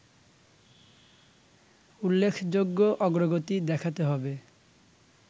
উল্লেখযোগ্য অগ্রগতি দেখাতে হবে